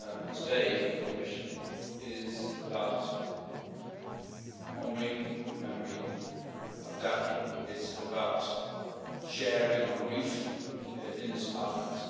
Today, for the Commission, is about honouring the memory of Daphne, it is about sharing our grief in this Parliament.